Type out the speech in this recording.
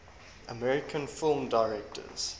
american film directors